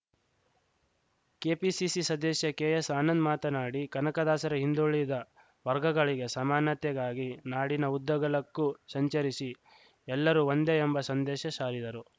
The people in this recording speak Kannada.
ಕೆಪಿಸಿಸಿ ಸದಸ್ಯ ಕೆಎಸ್‌ ಆನಂದ್‌ ಮಾತನಾಡಿ ಕನಕದಾಸರು ಹಿಂದುಳಿದ ವರ್ಗಗಳಿಗೆ ಸಮಾನತೆಗಾಗಿ ನಾಡಿನ ಉದ್ದಗಲಕ್ಕೂ ಸಂಚರಿಸಿ ಎಲ್ಲರೂ ಒಂದೇ ಎಂಬ ಸಂದೇಶ ಸಾರಿದರು